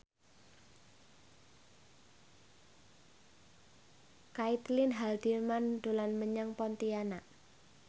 Caitlin Halderman dolan menyang Pontianak